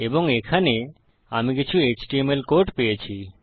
এবং এখানে আমি কিছু এচটিএমএল কোড পেয়েছি